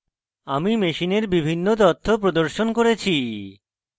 আমি machine এর বিভিন্ন তথ্য প্রদর্শন করেছি